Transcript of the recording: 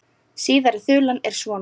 Síðari þulan er svona